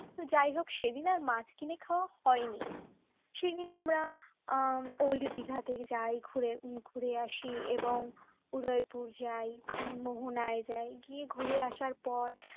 তো যাই হোক সেদিন আর মাছ কিনে খাওয়া হয়নি সেদিন আমরা old দিঘাতে যাই ঘুরে আসি এবং উদয়পুর যায় মোহনায় যায় গিয়ে ঘুরে আসার পর